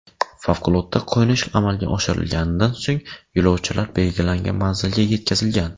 Favqulodda qo‘nish amalga oshirilganidan so‘ng, yo‘lovchilar belgilangan manziliga yetkazilgan.